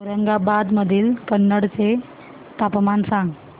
औरंगाबाद मधील कन्नड चे तापमान सांग